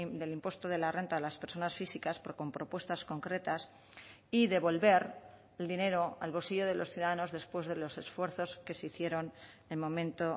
del impuesto de la renta de las personas físicas pero con propuestas concretas y devolver el dinero al bolsillo de los ciudadanos después de los esfuerzos que se hicieron en momento